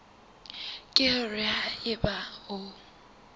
ke hore ha eba o